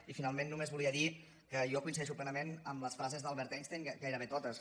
i finalment només volia dir que jo coincideixo plenament amb les frases d’albert einstein gairebé totes